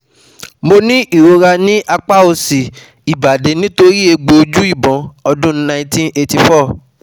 Mo ní ìrora ní apa òsì ibadi nitori egbo oju ibon ọ́dún nineteen eighty-four